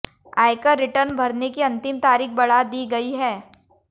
आयकर रिटर्न भरने की अंतिम तारीख बढ़ा दी गई है